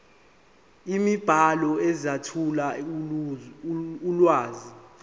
imibhalo ezethula ulwazi